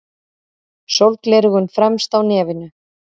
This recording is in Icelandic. Sólgleraugun fremst á nefinu.